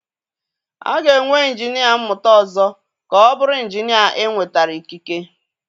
A ga-enwe injinia mmụta ọzọ ka ọ bụrụ injinia enwetara ikike?